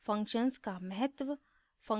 function का महत्व